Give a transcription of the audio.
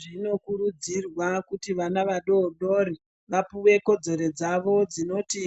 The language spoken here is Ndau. Zvinokurudzirwa kuti ana adodori vapuwe kodzero dzavo dzinoti